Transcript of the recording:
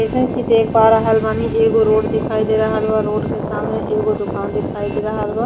जइसन की देख पा रहल बानी एगो रोड दिखायी दे रहल बा रोड के सामने एगो दुकान दिखाई दे रहल बा।